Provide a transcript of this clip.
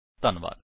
ਧੰਨਵਾਦ